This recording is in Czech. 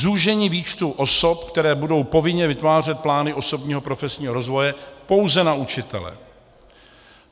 Zúžení výčtu osob, které budou povinně vytvářet plány osobního profesního rozvoje, pouze na učitele.